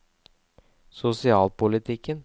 sosialpolitikken